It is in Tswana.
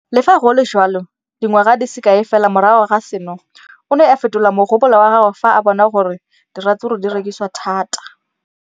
Le fa go le jalo, dingwaga di se kae fela morago ga seno, o ne a fetola mogopolo wa gagwe fa a bona gore diratsuru di rekisiwa thata.